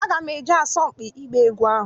Aga m eje asọmpi ịgba egwu ahụ.